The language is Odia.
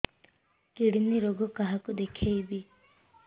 କିଡ଼ନୀ ରୋଗ କାହାକୁ ଦେଖେଇବି